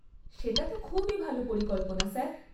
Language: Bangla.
সেটা তো খুবই ভাল পরিকল্পনা, স্যার।